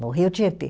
No Rio Tietê.